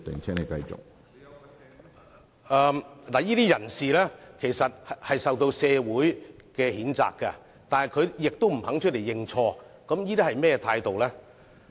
這些人士受到社會譴責，但亦不願意認錯，這究竟是甚麼態度呢？